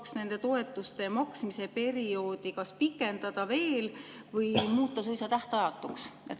kas nende toetuste maksmise perioodi veel pikendada või muuta suisa tähtajatuks?